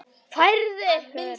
Færið ykkur!